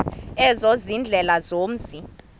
ezo ziindlela zomzi